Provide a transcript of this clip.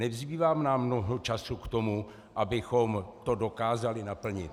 Nezbývá nám mnoho času k tomu, abychom to dokázali naplnit.